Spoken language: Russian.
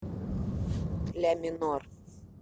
ля минор